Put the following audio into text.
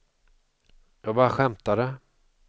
jag bara skämtade